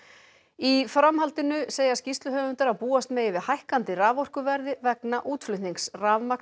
í framhaldinu segja skýrsluhöfundar að búast megi við hækkandi raforkuverði vegna útflutnings